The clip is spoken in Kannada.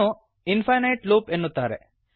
ಇದನ್ನು ಇಫೈನೈಟ್ ಲೂಪ್ ಎನ್ನುತ್ತಾರೆ